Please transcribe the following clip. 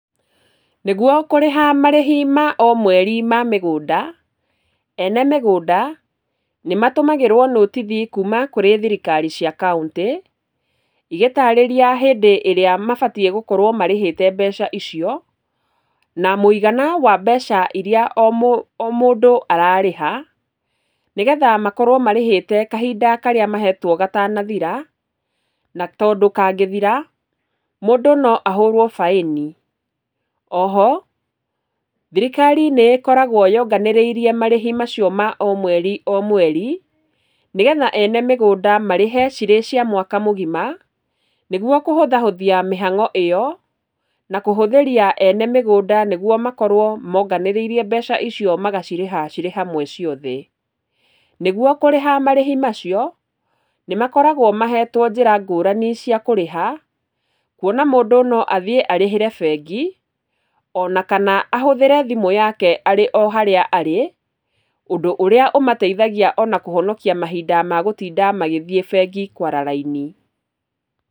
Nĩguo kũrĩha marĩhi ma o mweri ma mĩgũnda, ene mĩgũnda nĩ matũmagĩrwo notithi kuuma kũrĩ thirikari cia kauntĩ, igĩtarĩria hĩndĩ ĩrĩa mabatiĩ gũkorwo marĩhĩte mbeca icio, na mũigana wa mbeca irĩa o o mũndũ ararĩha, nĩgetha makorwo marĩhĩta kahinda karĩa mahetwo gatanathira, na tondũ kangĩthira, mũndũ no ahorwo baĩni, oho, thirikari nĩ ĩkoragwo yonganĩrĩirie marĩhi macio ma o mweri, o mweri, nĩgetha ene mĩgũnda marĩhe cirĩ cia mwaka mũgima, nĩguo kũhũthahũthia mĩhango ĩyo, na kũhũthĩria ene mĩgũnda nĩguo makorwo monganĩrĩirie mbeca icio magacirĩha cirĩ hamwe ciothe, nĩguo kũrĩha marĩhi macio, nĩ makoragwo mahetwo njĩra ngũrani cia kũrĩha, kuona mũndũ no athiĩ arĩhĩre bengi, ona kana ahũthĩre thimũ yake arĩ o harĩa arĩ, ũndũ ũrĩa ũmateithagia ona kũhonokia mahinda magũtinda magĩthiĩ bengi kwara raini.